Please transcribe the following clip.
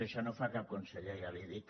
això no ho fa cap conseller ja li ho dic